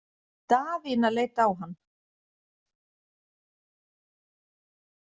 Daðína leit á hann.